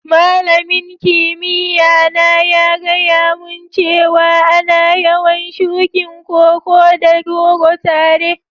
Malamin kimiyya na ya gaya mun cewa ana yawan shukin Koko da goro tare.